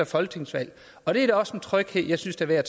folketingsvalg og det er da også en tryghed jeg synes er værd